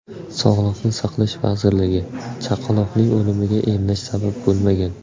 Sog‘liqni saqlash vazirligi: Chaqaloqning o‘limiga emlash sabab bo‘lmagan.